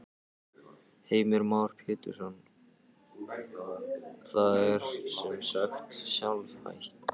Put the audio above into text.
Heimir Már Pétursson: Það er sem sagt sjálfhætt?